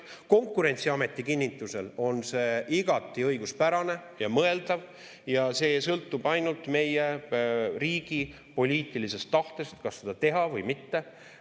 Konkurentsiameti kinnitusel on see igati õiguspärane ja mõeldav ja see sõltub ainult meie riigi poliitilisest tahtest, kas seda teha või mitte.